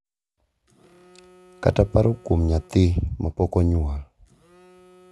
kata paro kuom nyathi ma pok onyuol.